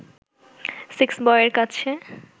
সেক্সবয়ের কাছে